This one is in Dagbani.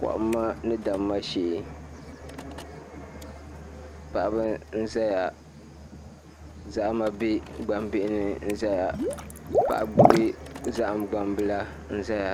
Kohamma ni damma shee paɣaba n ʒɛya zahama bɛ gbambihi ni n ʒɛya paɣa gbubi zaham gbambili n ʒɛya